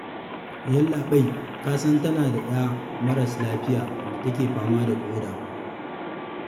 Yallaɓai ka san tana da ƴa maras lafiya da ke fama da ƙoda.